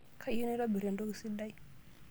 Kayieu naitobir entoki sidai.